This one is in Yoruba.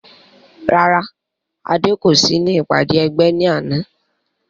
Rárá Adé kò sí ní ìpàdé ẹgbẹ́ ní àná